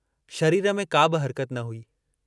शरीर में काबि हरकत न हुई।